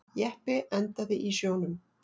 Jeppi endaði í sjónum